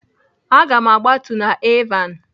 Aga m agbatu na Alvan.